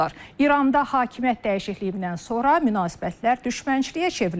İranda hakimiyyət dəyişikliyindən sonra münasibətlər düşmənçiliyə çevrilib.